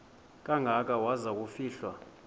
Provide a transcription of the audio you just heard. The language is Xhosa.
kangaka waza kufihlwa